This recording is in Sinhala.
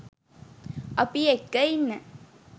අපි එක්ක ඉන්න